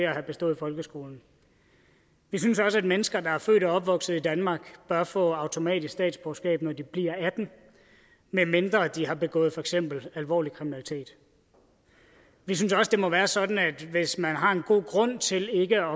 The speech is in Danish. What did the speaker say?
at have bestået folkeskolen vi synes også at mennesker der er født og opvokset i danmark bør få automatisk statsborgerskab når de bliver atten år medmindre de har begået for eksempel alvorlig kriminalitet vi synes også det må være sådan at hvis man har en god grund til ikke at